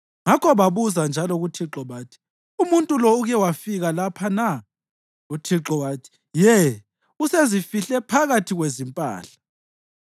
Ngakho babuza njalo kuThixo bathi, “Umuntu lo uke wafika lapha na?” UThixo wathi, “Ye, usezifihle phakathi kwezimpahla.”